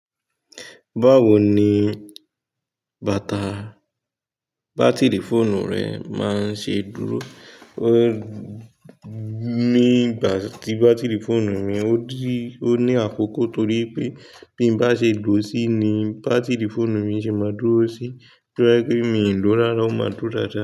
Báwo ni bátìrì fóònù rẹ máa ń ṣe dúró? Mi, ìgbà tí bátìrì fóònù mi ò ní àkókò torí pé bí mo bá ṣe lò ó sí ni bátìrì fóònù mi ṣe máa dúró sí. Torí pé mi ò lòó lọ́lọ́, ó máa dúró dáadáa.